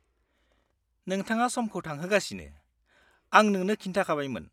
-नोंथाङा समखौ थांहोगासिनो, आं नोंनो खिन्थाबायमोन।